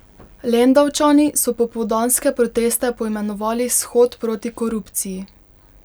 Lendavčani so popoldanske proteste poimenovali Shod proti korupciji.